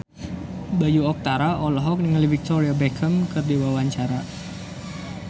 Bayu Octara olohok ningali Victoria Beckham keur diwawancara